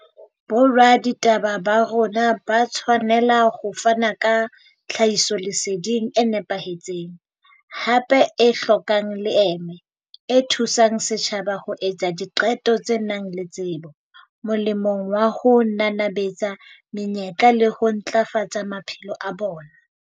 Boraditaba ba rona ba tshwanela ho fana ka tlhahisoleseding e nepahetseng, hape e hlokang leeme, e thu sang setjhaba ho etsa diqeto tse nang le tsebo, molemong wa ho nanabetsa menyetla le ho ntlafatsa maphelo a bona.